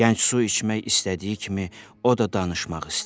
Gənc su içmək istədiyi kimi, o da danışmaq istəyir.